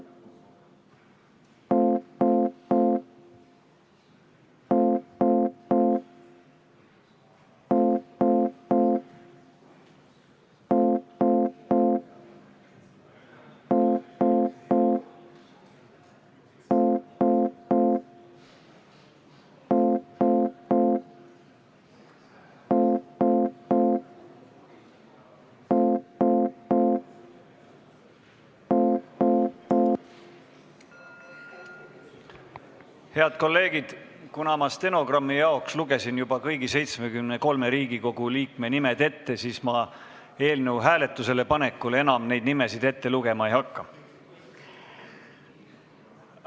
Head kolleegid, kuna ma stenogrammi jaoks lugesin juba kõigi 73 Riigikogu liikme nimed ette, siis ma eelnõu hääletusele panekul enam neid nimesid ette lugema ei hakka.